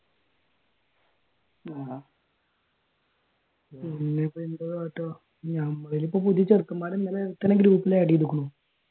ആഹ് ഞമ്മള് പുതിയ ചെറുക്കന്മാർ ഇന്നലെ ഒരുത്തനെ ഗ്രൂപ്പിൽ add ചെയ്‌തിക്കണു